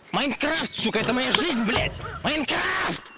маинкрафт сука это моя жизнь блять маинкрафт